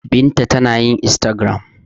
Binta tana yin instagram.